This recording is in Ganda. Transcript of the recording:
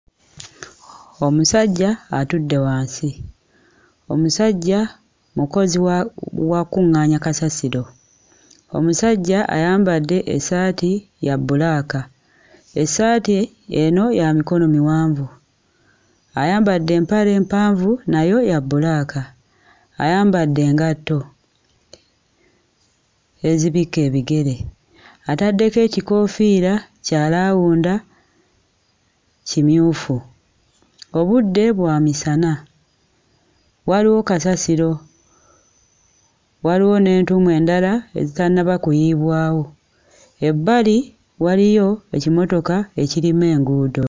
Omusajja atudde wansi. Omusajja mukozi wa wakkuŋŋaanya kasasiro. Omusajja ayambadde essaati ya bbulaaka. Essaati eno ya mikono miwanvu ayambadde empale empanvu nayo ya bbulaaka, ayambadde engatto ezibikka ebigere, ataddeko ekikoofiira kya laawunda kimyufu. Obudde bwa misana, waliwo kasasiro, waliwo n'entuumu endala ezitannaba kuyiibwawo, ebbali waliyo ekimotoka ekirima enguudo.